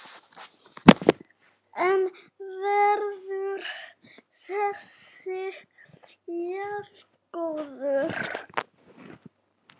En verður þessi jafngóð?